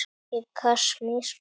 Í Kasmír